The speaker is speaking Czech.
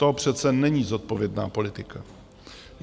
To přece není zodpovědná politika.